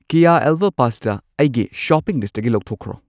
ꯀꯦꯌꯥ elbow pasta ꯑꯩꯒꯤ shopping ꯂꯤꯁꯠꯇꯒꯤ ꯂꯧꯊꯣꯛꯈ꯭ꯔꯣ꯫